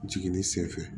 Jiginni senfɛ